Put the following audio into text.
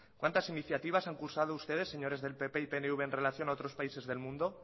cuántas iniciativas han cursado ustedes señores del pp y pnv en relación a otros países del mundo